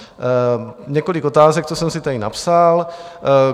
Několik otázek, co jsem si tady napsal.